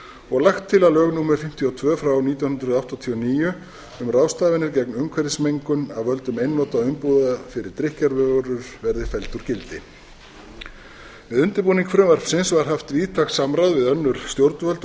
og lagt til að lög númer fimmtíu og tvö nítján hundruð áttatíu og níu um ráðstafanir gegn umhverfismengun af völdum einnota umbúða fyrir drykkjarvörur verði felld úr gildi við undirbúning frumvarpsins var haft víðtækt samráð við önnur stjórnvöld